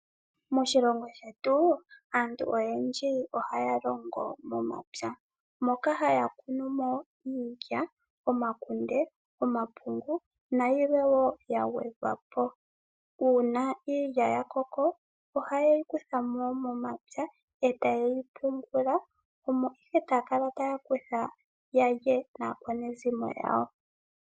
Moshilongo shetu aantu oyendji ohaya longo momapya, moka haya kunu mo iilya, omakunde, omapungu nayilwe wo ya gwedhwa po. Uuna iilya ya koko ohaye yi kutha mo momapya e ta ye yi pungula, omo ihe taa kala taa kutha ya lye naakwanezimo yawo.